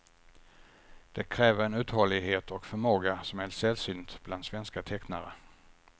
Det kräver en uthållighet och förmåga som är sällsynt bland svenska tecknare.